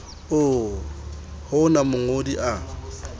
oo ho ona mongodi a